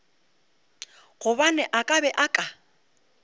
gobane a be a ka